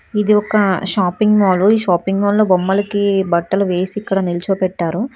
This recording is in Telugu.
ఇది ఒక షాపింగ్ మాల్ షాపింగ్ మాల్ లో బొమ్మలకి బట్టలు వేసి ఇక్కడ నిల్చబెట్టారు.